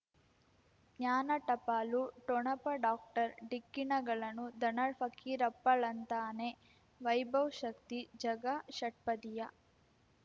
ಜ್ಞಾನ ಟಪಾಲು ಠೊಣಪ ಡಾಕ್ಟರ್ ಢಿಕ್ಕಿ ಣಗಳನು ಧನ ಫಕೀರಪ್ಪ ಳಂತಾನೆ ವೈಭವ್ ಶಕ್ತಿ ಝಗಾ ಷಟ್ಪದಿಯ